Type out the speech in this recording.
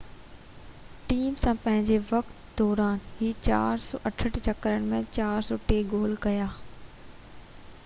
team سان پنھنجي وقت دوران هن 468 چڪرن ۾ 403 گول ڪيا